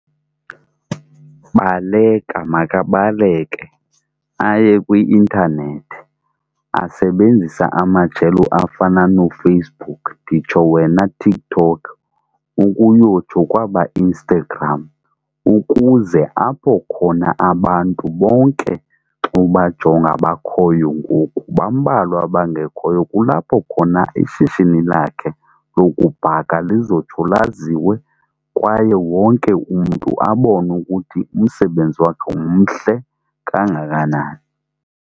Baleka, makabaleke aye kwi-intanethi asebenzise amajelo afana nooFacebook nditsho wena TikTok ukuyotsho kwaba Instagram ukuze apho khona abantu bonke xa ubajonga bakhoyo ngoku. Bambalwa abangekhoyo kulapho khona ishishini lakhe lokubhaka lizotsho laziwe kwaye wonke umntu abone ukuthi umsebenzi wakhe mhle kangakanani.